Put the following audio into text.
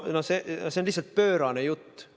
No see on lihtsalt pöörane jutt.